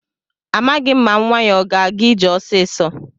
Amaghị m ma nwa ya o ga-aga ije ọsịsọ.